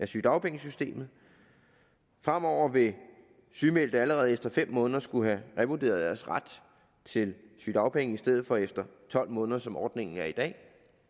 sygedagpengesystemet fremover vil sygemeldte allerede efter fem måneder skulle have revurderet deres ret til sygedagpenge i stedet for efter tolv måneder som ordningen er i dag